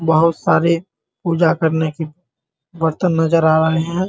बहुत सारे पूजा करने की बर्तन नजर आ रहे हैं ।